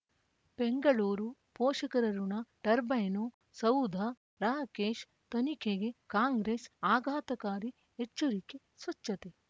ಬೆಂಗಳೂರು ಪೋಷಕರಋಣ ಟರ್ಬೈನು ಸೌಧ ರಾಕೇಶ್ ತನಿಖೆಗೆ ಕಾಂಗ್ರೆಸ್ ಆಘಾತಕಾರಿ ಎಚ್ಚರಿಕೆ ಸ್ವಚ್ಛತೆ